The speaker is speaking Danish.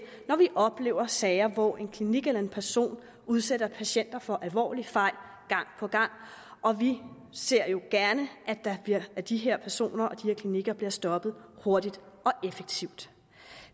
når vi oplever sager hvor en klinik eller en person udsætter patienter for alvorlige fejl og vi ser jo gerne at de her personer og her klinikker bliver stoppet hurtigt og effektivt